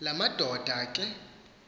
la madoda ke